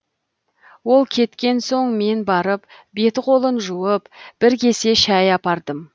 ол кеткен соң мен барып беті қолын жуып бір кесе шәй апардым